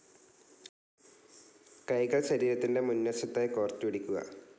കൈകൾ ശരീരത്തിൻ്റെ മുന്വശത്തായി കോർത്ത് പിടിക്കുക.